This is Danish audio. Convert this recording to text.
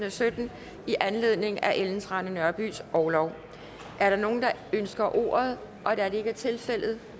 og sytten i anledning af ellen trane nørbys orlov er der nogen der ønsker ordet da det ikke er tilfældet